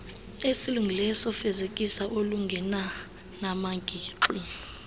esilungileyo sofezekiso olungenanamagingxi